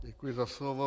Děkuji za slovo.